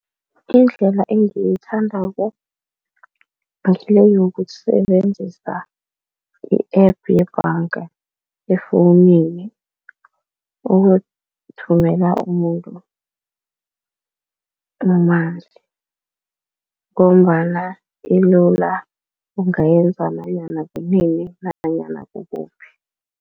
Indlela engiyithandako ngile yokusebenzisa i-App yebhanga efowunini ukuthumela umuntu ngombana ilula, ungayenza nanyana kunini nanyana kukuphi.